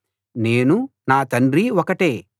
నేను నా తండ్రి ఒకటే